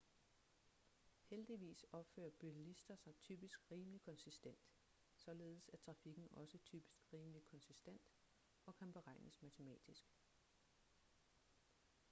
heldigvis opfører bilister sig typisk rimelig konsistent således er trafikken også typisk rimelig konsistent og kan beregnes matematisk